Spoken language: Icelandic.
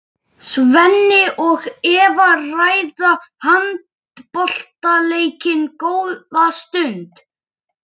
Svenni og Eva ræða handboltaleikinn góða stund.